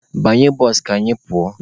Banye bụsụ ka anyị pụọ!